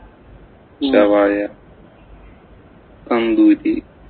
ഷവായ, tandoori,